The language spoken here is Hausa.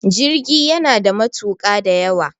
jirgi yana da matuka da yawa